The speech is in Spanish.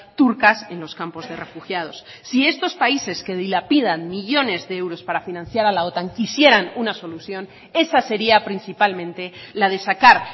turcas en los campos de refugiados si estos países que dilapidan millónes de euros para financiar a la otan quisieran una solución esa sería principalmente la de sacar